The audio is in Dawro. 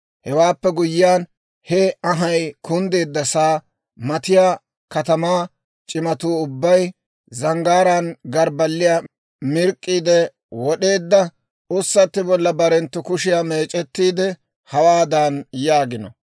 Hewaappe guyyiyaan, he anhay kunddeeddasa matattiyaa katamaa c'imatuu ubbay, zanggaaraan morggiyaa mirk'k'iide wod'eedda ussatti bolla barenttu kushiyaa meec'ettiide, hawaadan yaagino: